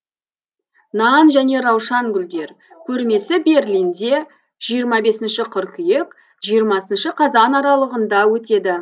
нан және раушан гүлдер көрмесі берлинде жиырма бесінші қыркүйек жиырмасыншы қазан аралығында өтеді